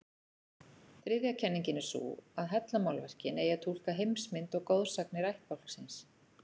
Þriðja kenningin er sú að hellamálverkin eigi að túlka heimsmynd og goðsagnir ættbálksins.